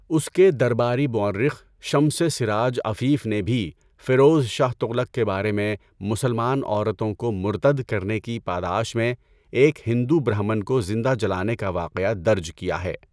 اس کے درباری مورخ شمسِ سراج عفیف نے بھی فیروز شاہ تغلق کے بارے میں مسلمان عورتوں کو مرتد کرنے کی پاداش میں ایک ہندو برہمن کو زندہ جلانے کا واقعہ درج کیا ہے۔